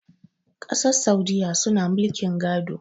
kasar saudiyya suna mulkin gado